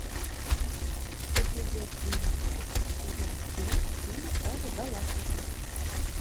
эпизод двенадцать сезон семь фильм стражи галактики